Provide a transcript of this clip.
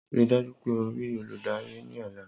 Rii daju pe o rii oludari ni ọla!